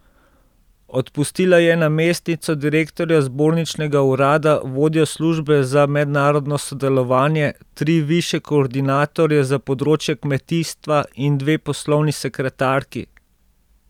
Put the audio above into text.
Odpustila je namestnico direktorja zborničnega urada, vodjo službe za mednarodno sodelovanje, tri višje koordinatorje za področje kmetijstva in dve poslovni sekretarki.